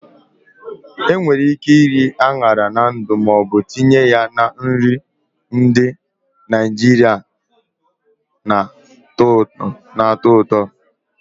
Enwere ike iri añara na ndu ma ọ bụ tinye ya na nri ndị Naijiria na-atọ ụtọ.